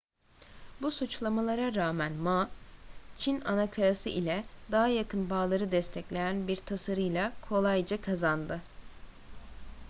bu suçlamalara rağmen ma çin anakarası ile daha yakın bağları destekleyen bir tasarıyla kolayca kazandı